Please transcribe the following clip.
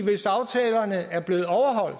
hvis aftalerne er blevet overholdt